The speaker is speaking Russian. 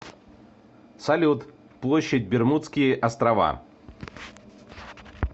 салют площадь бермудские острова